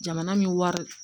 Jamana min wari